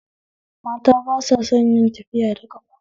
Mata ba sa son yawan tafiya da ƙafa